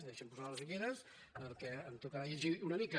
deixi’m posar les ulleres perquè em tocarà llegir una mica